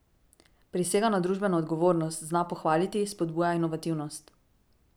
Prisega na družbeno odgovornost, zna pohvaliti, spodbuja inovativnost.